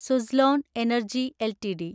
Suzlon energy LTD